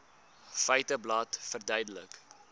feiteblad verduidelik